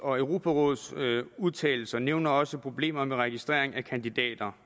og europarådets udtalelser nævnes også problemer med registrering af kandidater